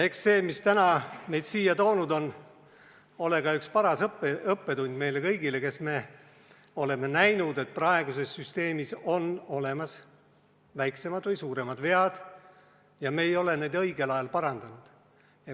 Eks see, mis täna meid siia toonud on, ole ka üks paras õppetund meile kõigile, kes me oleme näinud, et praeguses süsteemis on väiksemad või suuremad vead, aga me ei ole neid õigel ajal parandanud.